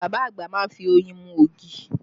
Bàbá àgbà má ń fi oyin mú ògì